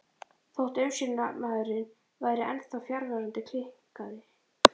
Þótt umsjónarmaðurinn væri ennþá fjarverandi kinkaði